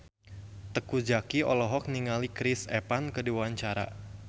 Teuku Zacky olohok ningali Chris Evans keur diwawancara